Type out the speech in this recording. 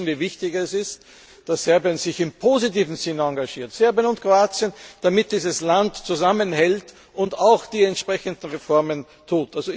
Wir alle wissen, wie wichtig es ist, dass Serbien sich in einem positiven Sinn engagiert Serbien und Kroatien damit dieses Land zusammenhält und auch die entsprechenden Reformen vollzieht.